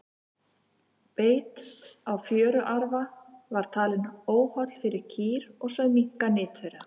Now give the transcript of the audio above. beit á fjöruarfa var talinn óholl fyrir kýr og sögð minnka nyt þeirra